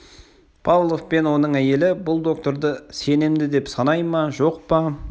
павлов пен оның әйелі бұл докторды сенімді деп санай ма жоқ па